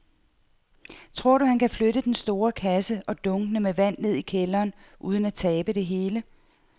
Tror du, at han kan flytte den store kasse og dunkene med vand ned i kælderen uden at tabe det hele?